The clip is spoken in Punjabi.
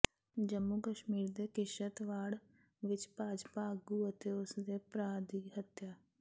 ਜੰਮੂ ਕਸ਼ਮੀਰ ਦੇ ਕਿਸ਼ਤਵਾੜ ਵਿਚ ਭਾਜਪਾ ਆਗੂ ਅਤੇ ਉਸਦੇ ਭਰਾ ਦੀ ਹੱਤਿਆ